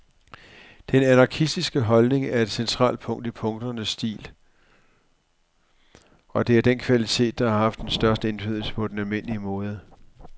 Den anarkistiske holdning er et centralt punkt i punkernes stil, og det er den kvalitet, der har haft størst indflydelse på den almindelige mode.